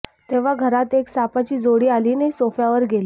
तेव्हा घरात एक सापाची जोडी आली आणि सोफ्यावर गेली